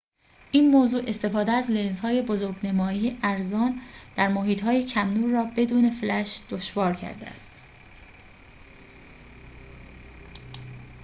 این موضوع استفاده از لنزهای بزرگ‌نمایی ارزان در محیط‌های کم‌نور را بدون فلش دشوار کرده است